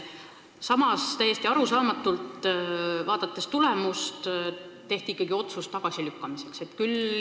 Samas tehti täiesti arusaamatult ikkagi otsus eelnõu tagasi lükata.